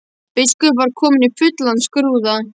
Biskup var kominn í fullan skrúða.